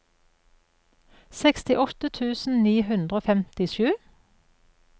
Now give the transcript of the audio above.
sekstiåtte tusen ni hundre og femtisju